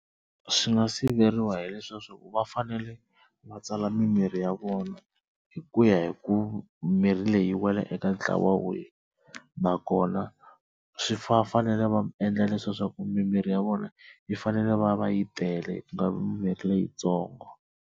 Swi nga siveriwa hi leswiya swo va fanele va tsala mimirhi ya vona hi ku ya hi ku mirhi leyi yi wela eka ntlawa wihi, nakona swi fanele va endla leswaku mimirhi ya vona yi fanele yi va va yi tele kungavi mimirhi leyitsongo.